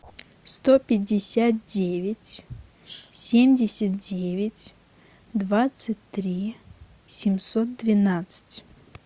сто пятьдесят девять семьдесят девять двадцать три семьсот двенадцать